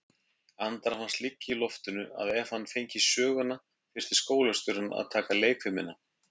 Andra fannst liggja í loftinu að ef hann fengi söguna þyrfti skólastjórinn að taka leikfimina.